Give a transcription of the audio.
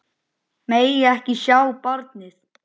Megi ekki sjá barnið.